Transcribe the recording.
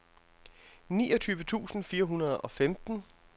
niogtyve tusind fire hundrede og femten